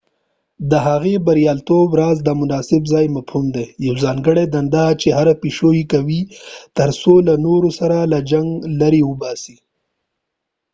د هغوی د بریالیتوب راز د د مناسب ځای مفهوم دی یو ځانګړي دنده چې هره پیشو یې کوي تر څو له نورو سره له جنګ لرې واوسي